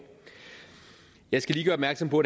jeg skal lige gøre opmærksom på